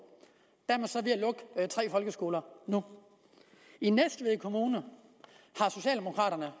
og tre folkeskoler nu i næstved kommune har socialdemokraterne